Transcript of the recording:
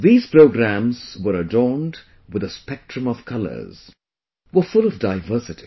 These programs were adorned with a spectrum of colours... were full of diversity